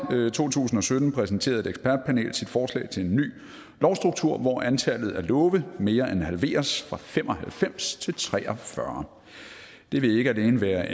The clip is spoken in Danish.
to tusind og sytten præsenterede et ekspertpanel sit forslag til en ny lovstruktur hvor antallet af love mere end halveres nemlig fra fem og halvfems til tre og fyrre det vil ikke alene være